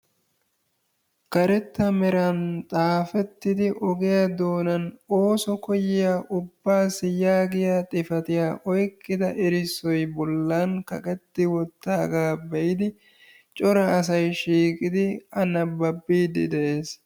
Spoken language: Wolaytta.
Karetta meran xaafettidi ogiya doonan ooso koyiya ubaassi yaagiya xifattiya oyqqida errisoy bolan kaqetti wottaaga be'idi cora asay shiiqidi A nababiiddi de'ees.